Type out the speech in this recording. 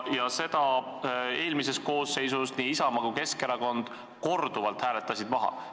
Selle aga hääletasid nii Isamaa kui ka Keskerakond eelmises koosseisus korduvalt maha.